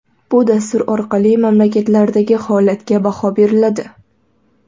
Bu dastur orqali mamlakatlardagi holatga baho beriladi.